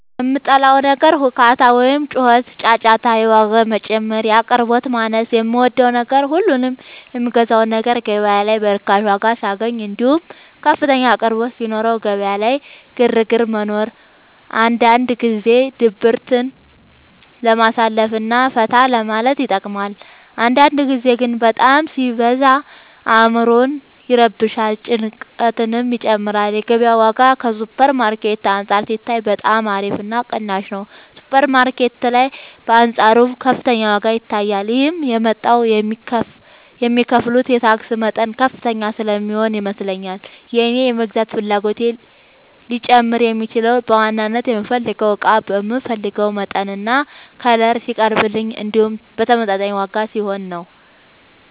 የምጠላው ነገር ሁካታ ወይም ጩኸትና ጫጫታ የዋጋ መጨመር የአቅርቦት ማነስ የምወደው ነገር ሁሉንም የምገዛውን ነገር ገበያ ላይ በርካሽ ዋጋ ሳገኘው እንዲሁም ከፍተኛ አቅርቦት ሲኖረው ገበያ ላይ ግርግር መኖሩ አንዳንድ ጊዜ ድብርትን ለማሳለፍ እና ፈታ ለማለት ይጠቅማል አንዳንድ ጊዜ ግን በጣም ሲበዛ አዕምሮን ይረብሻል ጭንቀትንም ይጨምራል የገበያው ዋጋ ከሱፐር ማርኬት አንፃር ሲታይ በጣም አሪፍ እና ቅናሽ ነው ሱፐር ማርኬት ላይ በአንፃሩ ከፍተኛ ዋጋ ይታያል ይህም የመጣው የሚከፍሉት የታክስ መጠን ከፍተኛ ስለሚሆን ይመስለኛል የእኔ የመግዛት ፍላጎቴ ሊጨምር የሚችለው በዋናነት የምፈልገው እቃ በምፈልገው መጠንና ከለር ሲቀርብልኝ እንዲሁም በተመጣጣኝ ዋጋ ሲሆን ነው።